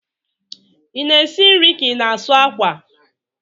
I na-esi nri ka ị na-asụ akwa?